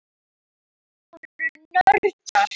Þau voru nördar.